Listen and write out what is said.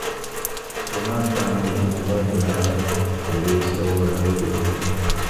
ẹ má káàánú ikú mohbad rárá èrè iṣẹ́ ọwọ́ rẹ̀ ló jẹ́